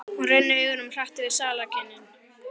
Hún rennir augunum hratt yfir salarkynnin.